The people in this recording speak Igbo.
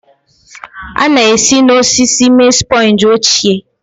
A na-esi n'osisi mee sponge ochie.